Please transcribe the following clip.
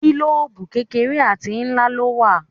Gílòòbù kékeré àti ńlá ló wà.